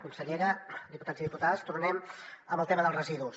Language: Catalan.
consellera diputats i diputades tornem al tema dels residus